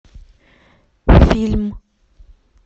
фильм